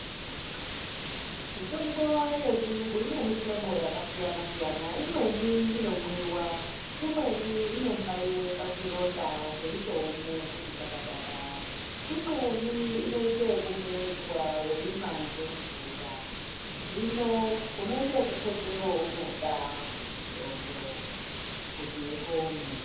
Mitombo yechiyungu ine mihlobo yakasiyana-siyana. Imweni inomwiwa, imweni inombaiwe pazvironda zveitoome kuti kwakwadara, imweni inomedzwa nemvura. Hino unoite ekukhete weunoda mutombo ,kuti upone.